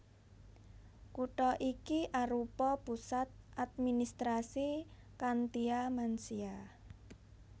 Kutha iki arupa pusat administrasi Khantia Mansia